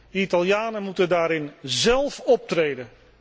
De Italianen moeten daarin zelf optreden.